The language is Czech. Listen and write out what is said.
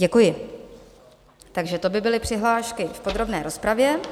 Děkuji, takže to by byly přihlášky v podrobné rozpravě.